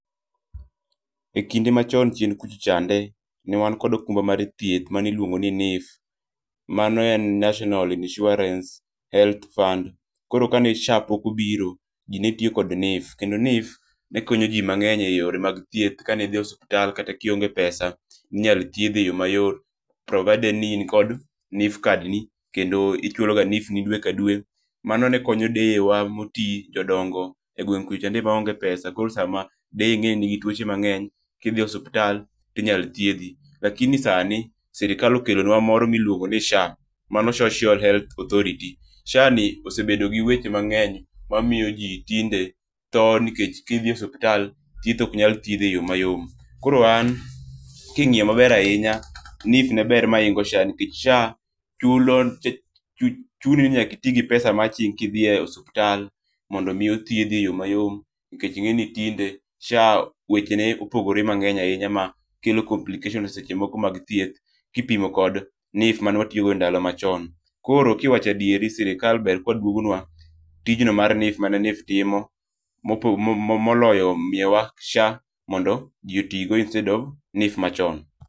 E kinde machon chien kucho chande, ne wan kod okumba mar thieth maniluongo ni NHIF. Mano en National Insurance Health Fund, koro kane SHA pok obiro ji netio kod NHIF. Kendo NHIF ne konyo ji mang'eny e yore mag thieth kanidhi e osuptal kata kionge pesa inyalo thiedhi e yo mayot. Provided ni in kod NHIF kad ni kendo ichuloga NHIF ni dwe ka dwe. Mano ne konyo deye wa moti, jodongo, e gweng' kucho chande maonge pesa. Koro sama deye ing'eni nigi tuoche mang'eny, kidhi osuptal tinyal thiedhi. Lakini sani, sirikal okelonwa moro miluongo ni SHA, mano Shoshiol Health Authority. SHA ni osebedo gi weche man'eny ma miyo ji tinde tho nikech kidhi osuptal, thiedh ok nyathiedhi e yo mayom. Koro an king'iyo maber ahinya, NHIF ne ber maingo SHA nikech SHA chuni ni nyakiti gi pesa ma aching' kidhiye osuptal mondo mi othiedhi e yo mayom. Nikech ing'eni tinde SHA weche ne opogore mang'eny ahinya ma kelo complication seche mokomag thieth, kipimo kod NHIF mane watiyogo e ndalo machon. Koro kiwachadieri, sirikal ber kadwogonwa tijno mar NHIF mane NHIF timo. Moloyo miyowa SHA mondo ji otigo instead of NHIF machon.